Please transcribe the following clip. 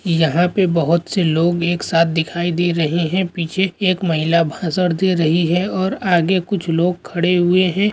यहां पे बहुत से लोग एकसाथ दिखाई दे रहे है पीछे एक महिला भाषण दे रही है और आगे कुछ लोग खड़े हुवे है।